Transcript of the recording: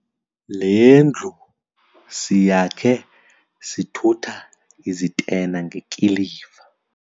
Le ndlu siyakhe sithutha izitena ngekiliva.